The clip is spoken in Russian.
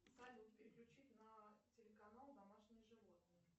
салют переключить на телеканал домашние животные